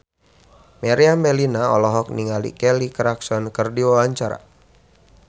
Meriam Bellina olohok ningali Kelly Clarkson keur diwawancara